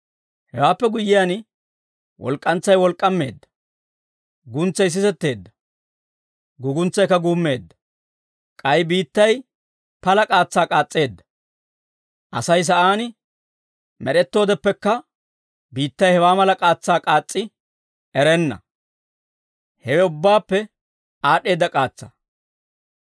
Hewaappe guyyiyaan, walk'k'antsay wolk'k'aameedda; guntsay sisetteedda; guuguntsaykka guummeedda. K'ay biittay pala k'aatsaa k'aas's'eedda. Asay sa'aan med'ettoodeppekka biittay hewaa mala k'aatsaa k'aas's'i erenna; hewe ubbaappe aad'd'eedda k'aatsaa.